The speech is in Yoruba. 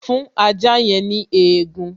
Fún ajá yẹn ní egun